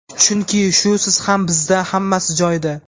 chunki shusiz ham bizda hammasi joyida;.